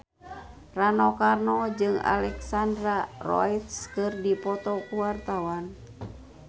Rano Karno jeung Alexandra Roach keur dipoto ku wartawan